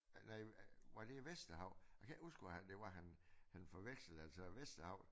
Øh nej var det i Vesterhavet jeg kan ikke huske hvor han det var han han forvekslede altså Vesterhavet